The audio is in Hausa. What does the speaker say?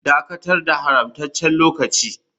Dakatar da haramtaccen lokaci.